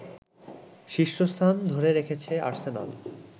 শীর্ষস্থান ধরে রেখেছে আর্সেনাল